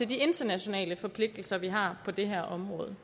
de internationale forpligtelser vi har på det her område